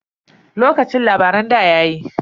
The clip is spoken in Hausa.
Lokacin labaran ɗa yayi.